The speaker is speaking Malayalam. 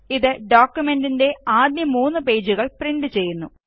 ഇത് ഡോക്കുമെന്റിന്റെ ആദ്യ മൂന്ന് പേജുകള് പ്രിന്റ് ചെയ്യുന്നു